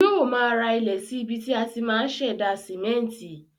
Yóò ma ra ilẹ̀ sí ibi tí á ti ma ṣẹ̀dá sìmẹ́ntì